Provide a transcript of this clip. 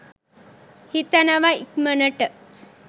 හිතනව ඉක්මනට